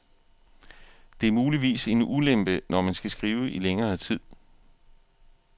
Det er muligvis en ulempe, når man skal skrive i længere tid.